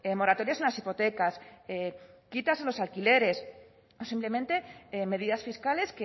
moratorias en las hipotecas quitas en los alquileres o simplemente medidas fiscales